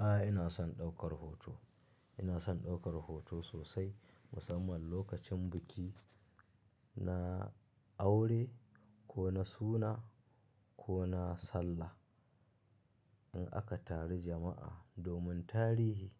A'a, ina son ɗaukar hoto. Ina son ɗaukar hoto sosai musamman lokacin biki, na aure ko na suna ko na sallah. In aka taru jama'a domin tarihi,